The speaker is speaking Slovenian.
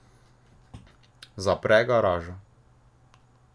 Zapre garažo.